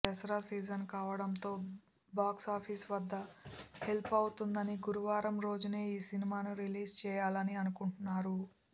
Dasara season కావడంతో box office వద్ద help అవుతుందని గురువారం రోజునే ఈ సినిమాని రిలీజ్ చెయ్యాలని అనుకుంటున్నారు